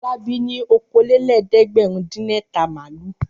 Fọlábí ní okòólélẹ́ẹ̀dẹ́gbẹ̀rúndínẹ̀ta màlúù.